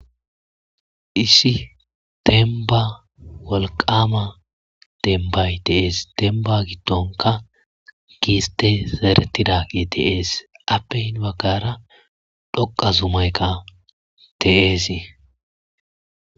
Issi demba wolqama dembay de'es. Demba gidonka gistey zeretidagey de'es entappe heni bagara dhoqa zumayka de'es.